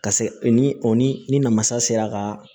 Ka se o ni o ni ni namasa sera ka